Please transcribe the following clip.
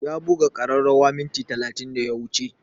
Ya buga ƙararrawa minti talatin da ya wuce